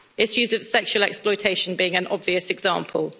issues of sexual exploitation being an obvious example.